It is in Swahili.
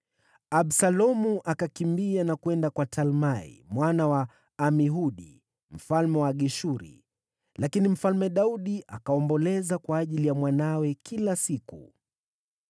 Absalomu akakimbia na kwenda kwa Talmai mwana wa Amihudi, mfalme wa Geshuri. Lakini Mfalme Daudi akaomboleza kwa ajili ya mwanawe kila siku.